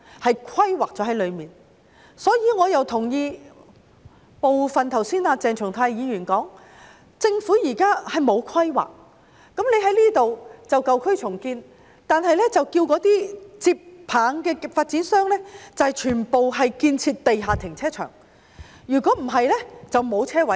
故此，我同意鄭松泰議員剛才提出的部分意見，政府現時沒有規劃，例如建議在這裏進行舊區重建，卻要求接棒的發展商全部興建地下停車場，否則便沒有車位。